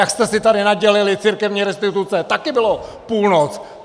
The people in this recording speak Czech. Jak jste si tady nadělili církevní restituce, taky byla půlnoc.